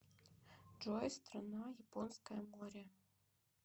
джой страна японское море